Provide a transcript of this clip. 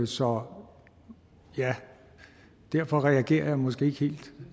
så ja derfor reagerer jeg måske ikke helt